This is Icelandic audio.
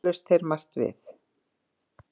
Töluðust þeir margt við